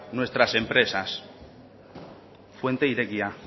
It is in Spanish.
nuestras empresas fuente irekia